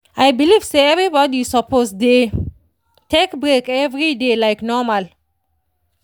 i believe say everybody suppose dey take break every day like normal.